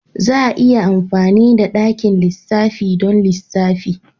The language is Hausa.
Za a iya amfani da dakin lissafi don lissafi.